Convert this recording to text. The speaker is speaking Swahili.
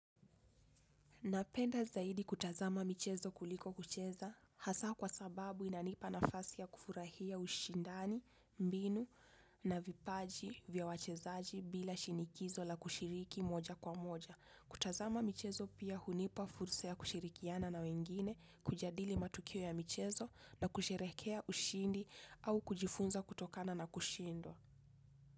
Napenda zaidi kutazama michezo kuliko kucheza hasa kwa sababu inanipa nafasi ya kufurahia ushindani, mbinu, na vipaji vya wachezaji bila shinikizo la kushiriki moja kwa moja. Kutazama michezo pia hunipa fursa ya kushirikiana na wengine, kujadili matukio ya michezo na kusherekea ushindi au kujifunza kutokana na kushindwa.